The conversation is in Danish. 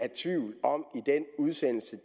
udsendelse